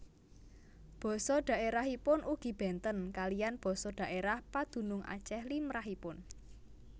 Basa dhaèrahipun ugi bénten kaliyan basa dhaèrah padunung Acèh limrahipun